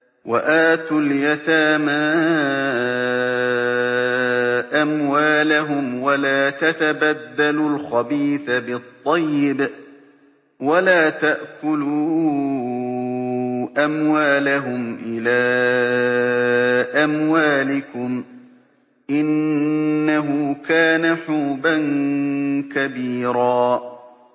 وَآتُوا الْيَتَامَىٰ أَمْوَالَهُمْ ۖ وَلَا تَتَبَدَّلُوا الْخَبِيثَ بِالطَّيِّبِ ۖ وَلَا تَأْكُلُوا أَمْوَالَهُمْ إِلَىٰ أَمْوَالِكُمْ ۚ إِنَّهُ كَانَ حُوبًا كَبِيرًا